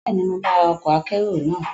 Bẹ́ẹ̀ni, mo máa ra ọkọ̀ akérò naa